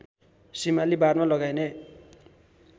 सिमाली बारमा लगाइने